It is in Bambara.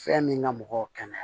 Fɛn min ka mɔgɔw kɛnɛya